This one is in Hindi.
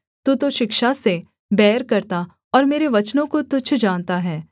तू तो शिक्षा से बैर करता और मेरे वचनों को तुच्छ जानता है